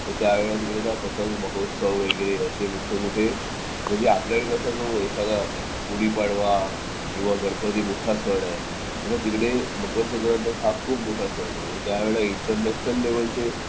तर त्यावेळेला तिकडे पतंग महोत्सव वगैरे असे मोठे मोठे म्हणजे आपल्याकडे कसं एखादा गुढीपाडवा किंवा गणपती मोठा सण आहे तसा तिकडे मकर संक्रांत हा खूप मोठा सण आहे त्यावेळेला इंटरनॅशनल लेव्हलचे